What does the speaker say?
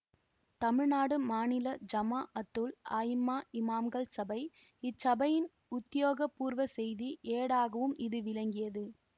தமிழ்நாடு மாநில ஜமாஅத்துல் அயிம்மா இமாம்கள் சபை இச்சபையின் உத்தியோகபூர்வ செய்தி ஏடாகவும் இது விளங்கியது